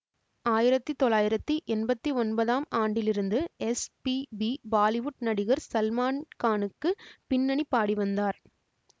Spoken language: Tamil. ஆயிரத்தி தொள்ளாயிரத்தி எம்பத்தி ஒன்பதாம் ஆண்டிலிருந்து எஸ் பி பி பாலிவுட் நடிகர் சல்மான்கானுக்கு பின்னணி பாடிவந்தார்